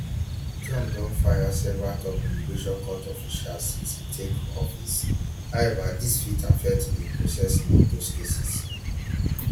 trump don fire several top immigration court officials since im take office however dis fit affect di processing of those cases